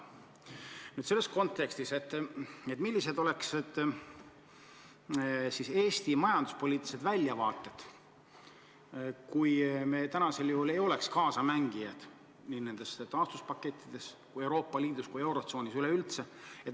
Ma küsin selles kontekstis, millised oleks siis Eesti majanduspoliitilised väljavaated, kui me ei oleks praegu kaasamängijad nii nendes taastuspakettides kui ka Euroopa Liidus ja eurotsoonis üleüldse.